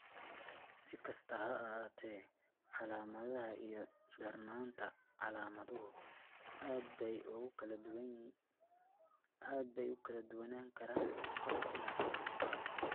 Si kastaba ha ahaatee, calaamadaha iyo darnaanta calaamaduhu aad bay ugu kala duwanaan karaan qof ilaa qof.